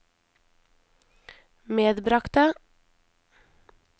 medbragte